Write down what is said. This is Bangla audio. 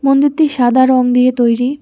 মন্দিরটি সাদা রং দিয়ে তৈরি।